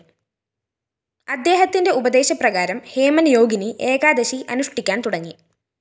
അദ്ദേഹത്തിന്റെ ഉപദേശപ്രകാരം ഹേമന്‍ യോഗിനി ഏകാദശി അനുഷ്ഠിക്കാന്‍ തുടങ്ങി